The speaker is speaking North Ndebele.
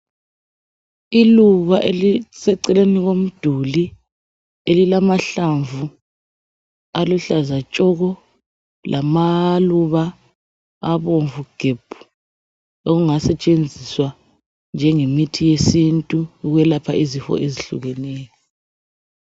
Iluba eliseceleni komduli elilamahlamvu aluhlaza tshoko lamaluba abomvu gebhu okungasetshenziswa njengemithi yesintu ukwelapha izifo ezehlukeneyo.